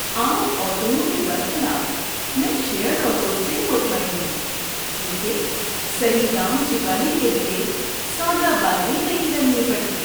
عام آٹوؤں کے برخلاف، میں شیٔرڈ آٹوز سے مطمئن ہوں کیونکہ صحیح دام چکانے کے لیے سودا بازی نہیں کرنی پڑتی۔